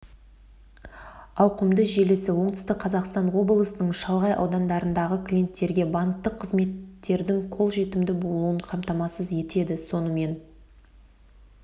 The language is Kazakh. ауқымды желісі оңтүстік қазақстан облысының шалғай аудандарындағы клиенттерге банктік қызметтердің қөлжетімді болуын қамтамасыз етеді сонымен